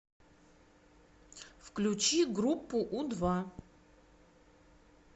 включи группу у два